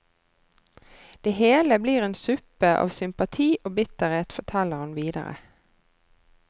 Det hele blir en suppe av sympati og bitterhet, forteller han videre.